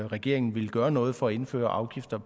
regeringen ville gøre noget for at indføre afgifter